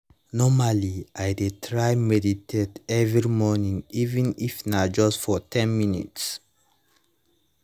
normally i dey try meditate every morning even if na just for ten minutes